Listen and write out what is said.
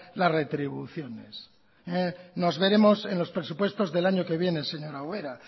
la retribuciones nos veremos en los presupuestos del año que viene señora ubera